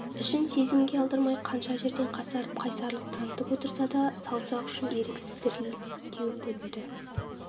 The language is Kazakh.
ішін сезімге алдырмай қанша жерден қасарып қайсарлық танытып отырса да саусақ ұшын еріксіз діріл теуіп өтті